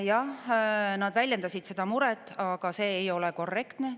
Jah, nad väljendasid seda muret, aga see ei ole korrektne.